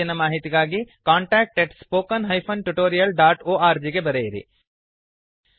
ಹೆಚ್ಚಿನ ಮಾಹಿತಿಗಾಗಿ contactspoken tutorialorg ಗೆ ಬರೆಯಿರಿ